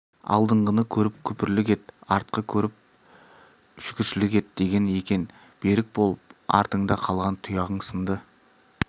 алдыңғыны көріп күпірлік ет артқы көріп шүкірлік ет деген екен берік бол артыңда қалған тұяғың сынды